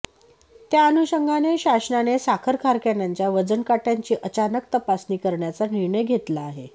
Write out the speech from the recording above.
त्या अनुषंगाने शासनाने साखर कारखान्यांच्या वजनकाट्यांची अचानक तपासणी करण्याचा निर्णय घेतला आहे